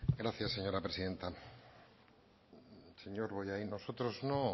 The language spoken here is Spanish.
gracias señora presidenta señor bollain nosotros no